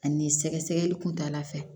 Ani sɛgɛsɛgɛli kuntala fɛ